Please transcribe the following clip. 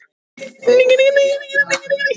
Iss. það var ekki lengur nein hindrun.